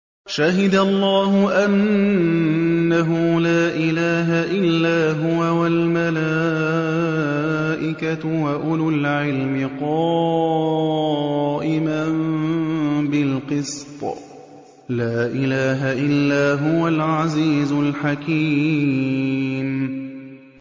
شَهِدَ اللَّهُ أَنَّهُ لَا إِلَٰهَ إِلَّا هُوَ وَالْمَلَائِكَةُ وَأُولُو الْعِلْمِ قَائِمًا بِالْقِسْطِ ۚ لَا إِلَٰهَ إِلَّا هُوَ الْعَزِيزُ الْحَكِيمُ